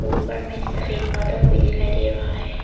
ऊपर में सफेद बादल भी दिखाई दे रहा है।